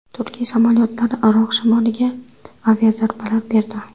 Turkiya samolyotlari Iroq shimoliga aviazarbalar berdi.